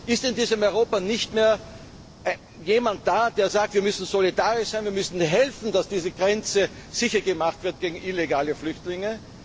kann? Ist denn in diesem Europa niemand mehr da, der sagt Wir müssen solidarisch sein, wir müssen helfen, dass diese Grenze sicher gemacht wird gegen illegale Flüchtlinge?